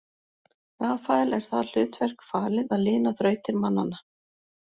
Rafael er það hlutverk falið að lina þrautir mannanna.